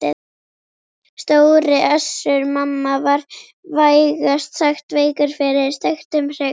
Stóri Össur-Mamma var vægast sagt veikur fyrir steiktum hrygg.